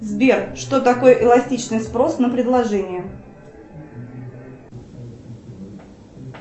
сбер что такое эластичный спрос на предложение